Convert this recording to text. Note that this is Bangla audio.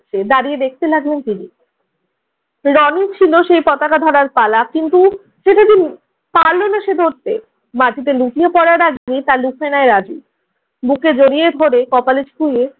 দাঁড়িয়ে দেখতে লাগলেন তিনি। রনির ছিল সেই পতাকা ধরার পালা কিন্তু পারলো না সে ধরতে। মাটিতে লুটিয়ে পড়ার আগেই তা লুফে নেয় রাজু। বুকে জড়িয়ে ধরে কপালে ছুঁয়ে